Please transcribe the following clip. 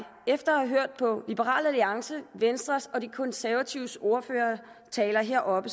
efter at have hørt på liberal alliances venstres og de konservatives ordføreres taler heroppe